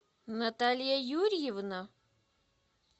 наталья юрьевна